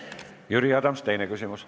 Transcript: Jüri Adams, teine küsimus.